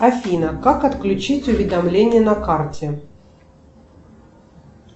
афина как отключить уведомление на карте